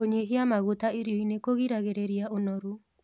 Kũnyĩhĩa magũta irioĩnĩ kũgĩragĩrĩrĩa ũnorũ